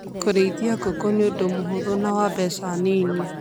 Kũrĩithia ngũkũ nĩ ũndũ mũhũthũ na wa mbeca nini.